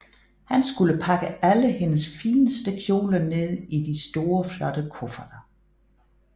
Han skulle pakke alle hendes fineste kjoler ned i de store flotte kufferter